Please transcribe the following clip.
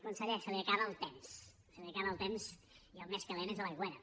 conseller se li acaba el temps se li acaba el temps i el més calent és a l’aigüera